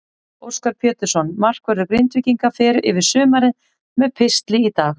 Óskar Pétursson, markvörður Grindvíkinga, fer yfir sumarið með pistli í dag.